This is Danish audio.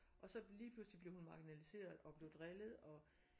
Og så lige pludselig blev hun marginaliseret og blev drillet og